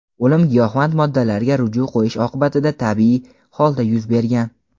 o‘lim giyohvand moddalarga ruju qo‘yish oqibatida tabiiy holda yuz bergan.